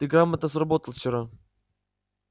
ты грамотно сработал вчера